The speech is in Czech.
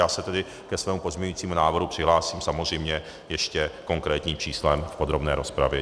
Já se tedy ke svému pozměňovacímu návrhu přihlásím samozřejmě ještě konkrétním číslem v podrobné rozpravě.